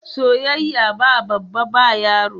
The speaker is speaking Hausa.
Soyayya ba babba ba yaro.